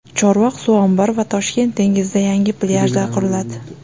Chorvoq suv ombori va Toshkent dengizida yangi plyajlar quriladi.